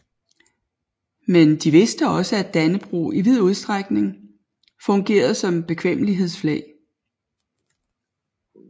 Men de vidste også at Dannebrog i vid udstrækning fungerede som bekvemmelighedsflag